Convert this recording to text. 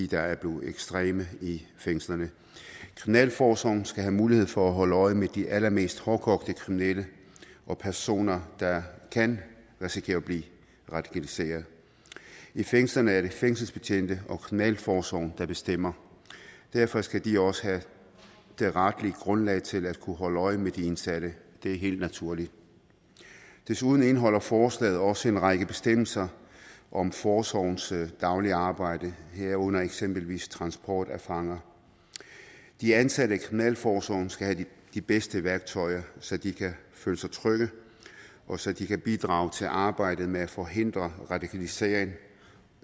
der er blevet ekstreme i fængslerne kriminalforsorgen skal have mulighed for at holde øje med de allermest hårdkogte kriminelle og personer der kan risikere at blive radikaliseret i fængslerne er det fængselsbetjente og kriminalforsorgen der bestemmer derfor skal de også have det retlige grundlag til at kunne holde øje med de indsatte det er helt naturligt desuden indeholder forslaget også en række bestemmelser om forsorgens daglige arbejde herunder eksempelvis transport af fanger de ansatte i kriminalforsorgen skal have de bedste værktøjer så de kan føle sig trygge og så de kan bidrage til arbejdet med at forhindre radikalisering